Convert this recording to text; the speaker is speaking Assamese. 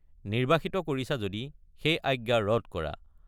নিৰ্বাসিত কৰিছা যদি সেই আজ্ঞা ৰদ কৰা।